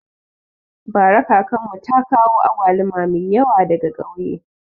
Bara kakanmu ta kawo agwaluma mai yawa daga kauye